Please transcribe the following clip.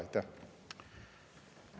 Aitäh!